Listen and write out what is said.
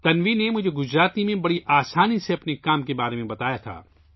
تنوی نے مجھے گجراتی زبان میں اپنے کام کے بارے میں بتایا